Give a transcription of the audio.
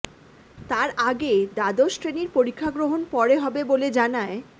তার আগে দ্বাদশ শ্রেণির পরীক্ষাগ্রহণ পরে হবে বলে জানায়